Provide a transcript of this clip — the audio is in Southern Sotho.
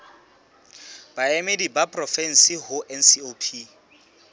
baemedi ba porofensi ho ncop